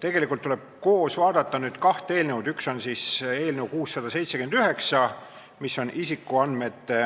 Tegelikult tuleb koos vaadata kahte eelnõu, üks on eelnõu 679, mis on isikuandmete